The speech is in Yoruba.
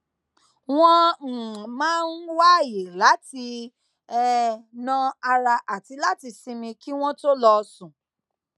wón um máa ń wá àyè láti um nà ara àti láti sinmi kí wón tó lọ sùn